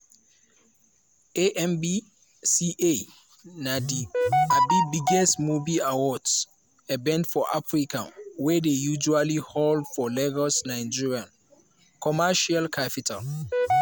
amvca na di um biggest movie award event for africa wey dey usually hold for lagos nigeria commercial capital.